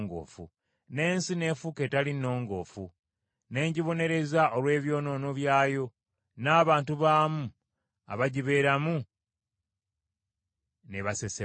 n’ensi n’efuuka etali nnongoofu, ne ngibonereza olw’ebyonoono byayo, n’abantu baamu abagibeeramu n’ebasesema.